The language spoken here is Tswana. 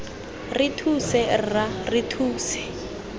re thuse rra re thuse